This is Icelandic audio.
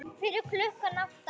Fyrir klukkan átta?